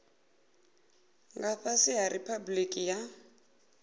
nga fhasi ha riphabuliki ya